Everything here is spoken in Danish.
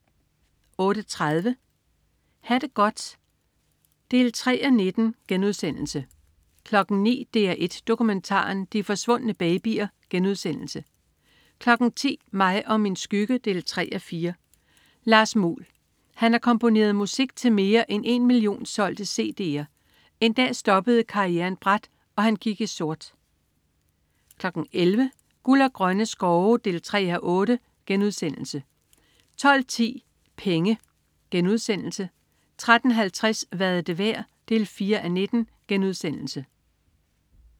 08.30 Ha' det godt 3:19* 09.00 DR1 Dokumentaren. De forsvundne babyer* 10.00 Mig og min skygge 3:4. Lars Muhl. Han har komponeret musik til mere end en million solgte cd'er. En dag stoppede karrieren brat, og han gik i sort 11.00 Guld og Grønne Skove 3:8* 12.10 Penge* 13.50 Hvad er det værd? 4:19*